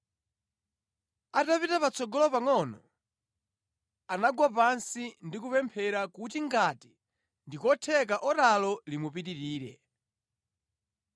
Atapita patsogolo pangʼono, anagwa pansi ndi kupemphera kuti ngati ndi kotheka oralo limupitirire.